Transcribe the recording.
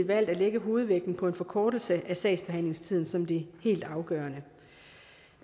valgt at lægge hovedvægten på en forkortelse af sagsbehandlingstiden som det helt afgørende